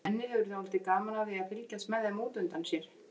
Svenni hefur dálítið gaman af því að fylgjast með þeim út undan sér.